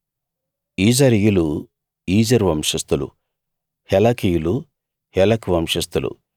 ఈజరీయులు ఈజరు వంశస్థులు హెలకీయులు హెలకు వంశస్థులు